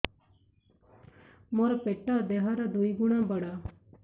ମୋର ପେଟ ଦେହ ର ଦୁଇ ଗୁଣ ବଡ